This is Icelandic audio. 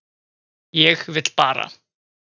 Ég vil bara